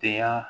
Den ya